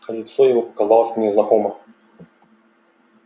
лицо его показалось мне знакомо